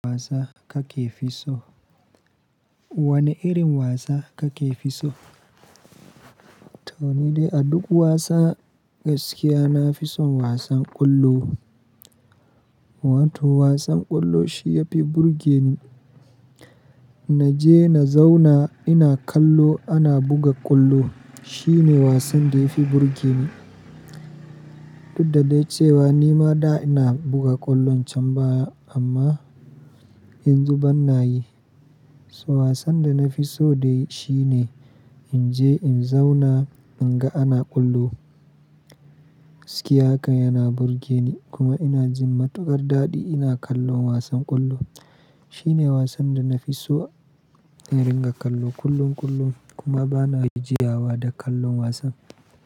Wasa kake fi so? Wane irin wasa kake fi so? To ni dai a duk wasan gaskiya, na fi son wasan ƙwallo. Wato wasan ƙwallo shi ya fi burge ni. Naje na zauna ina kallo ana buga ƙwallo, shi ne wasan da ya fi burge ni. Duddade cewa ni ma da ina buga ƙwallon can baya amma yanzu ban na yi. So wasan da na fi so dai shi ne in je in zauna in ga ana ƙwallo. Ciki haka yana burge ni kuma ina jin matukar daɗi ina kallon wasan ƙwallo. Shi ne wasan da na fi so in ringa kallo kullum kullum kuma ba na jigawa da kallon wasan.